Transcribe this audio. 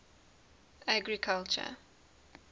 agriculture